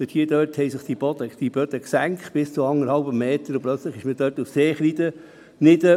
Dort haben sich die Böden bis auf anderthalb Meter gesenkt, und plötzlich befand man sich auf Seekreide.